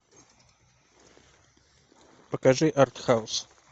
покажи арт хаус